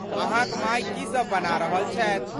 अहाँक माय की सब बना रहल छथि?